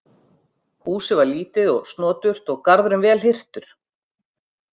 Húsið var lítið og snoturt og garðurinn vel hirtur.